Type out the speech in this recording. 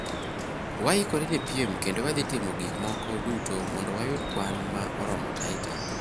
waikore ne piem kendo wadhi timo gik moko duto mondo wayud kwan ma oromo Taita